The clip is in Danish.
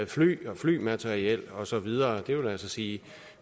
fly og flymateriel og så videre det vil altså sige